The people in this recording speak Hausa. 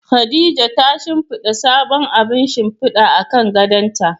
Khadija ta shimfida sabon abun shimfida akan gadonta.